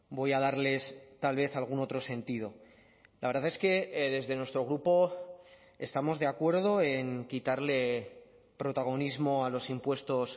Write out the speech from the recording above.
voy a darles tal vez algún otro sentido la verdad es que desde nuestro grupo estamos de acuerdo en quitarle protagonismo a los impuestos